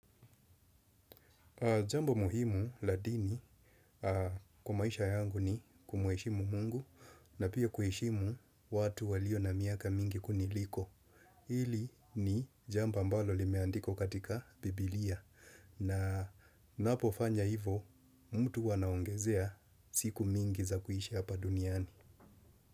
Jambo muhimu la dini kwa maisha yangu ni kumuheshimu mungu na pia kuheshimu watu walio na miaka mingi kuniliko. Hili ni jambo ambalo limeandikwa katika Biblia na ninapo fanya hivo mtu huwa anaongezea siku mingi za kuishi hapa duniani.